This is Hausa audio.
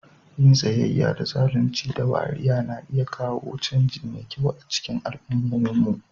Yin tsayayya da zalunci da wariya na iya kawo canji mai kyau a cikin al'ummominmu.